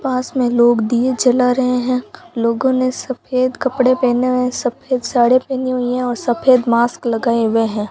पास में लोग दिए जला रहे हैं लोगों ने सफेद कपड़े पहने हुए सफेद साड़ी पहनी हुई है और सफेद मास्क लगाए हुए हैं।